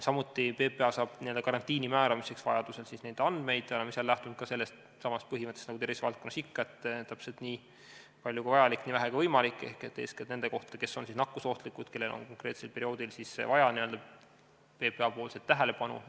Samuti PPA saab karantiini määramiseks vajaduse korral neid andmeid, mis on lähtunud ka sellestsamast põhimõttest nagu tervisevaldkonnas ikka, et täpselt nii palju kui vajalik ja nii vähe kui võimalik, st eeskätt nende kohta, kes on nakkusohtlikud ja kellel on konkreetsel perioodil vaja PPA tähelepanu.